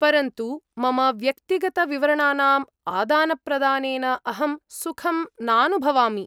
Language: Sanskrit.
परन्तु मम व्यक्तिगतविवरणानाम् आदानप्रदानेन अहं सुखं नानुभवामि।